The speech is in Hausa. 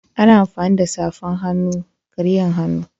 Ana amfani da safana-hannu kariyan hannu.